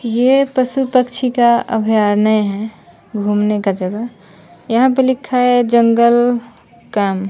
ये पशु पक्षी का अभ्यारण्य है घूमने का जगह यहां पे लिखा है जंगल ।